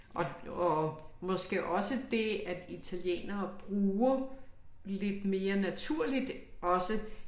Og og måske også det at italienere bruger lidt mere naturligt også